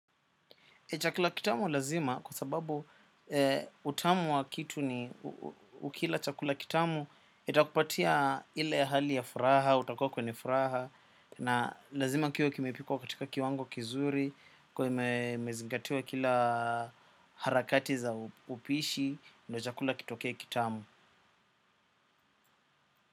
Chakula kitamu lazima kwa sababu utamu wa kitu ni ukila chakula kitamu itakupatia ile hali ya furaha, utakuwa kwenye furaha na lazima kiwe kimepikwa katika kiwango kizuri imezingatiwa kila harakati za upishi na chakula kitoke kitamu.